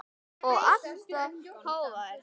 Og alltaf hógvær.